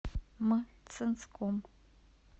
мценском